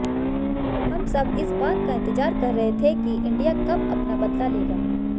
हम सब इस बात का इंतजार कर रहे थे की इंडिया कब अपना बदला लेगा